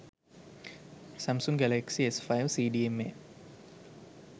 samsung galaxy s5 cdma